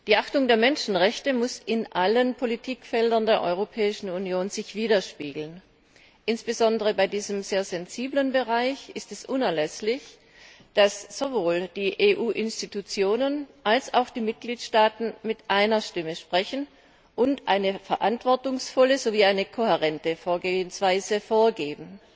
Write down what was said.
Die Achtung der Menschenrechte muss sich in allen Politikfeldern der Europäischen Union widerspiegeln. Insbesondere bei diesem sehr sensiblen Bereich ist es unerlässlich, dass sowohl die EU Institutionen als auch die Mitgliedstaaten mit einer Stimme sprechen und eine verantwortungsvolle sowie eine kohärente Vorgehensweise vorgeben.